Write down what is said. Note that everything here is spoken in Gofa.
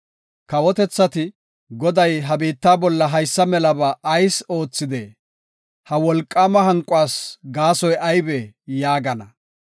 Kawotethati, “Goday ha biitta bolla haysa melaba ayis oothidee? Ha wolqaama hanquwas gaasoy aybee?” yaagana.